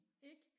Ik